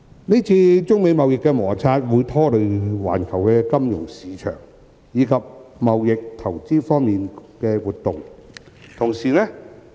今次中美貿易摩擦會拖累環球金融市場，以及貿易投資活動。